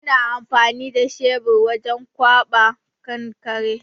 Muna amfani da shebir wajen ƙwaɓa kankare.